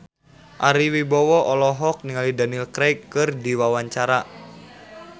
Ari Wibowo olohok ningali Daniel Craig keur diwawancara